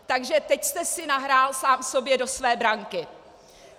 Takže teď jste si nahrál sám sobě do své branky!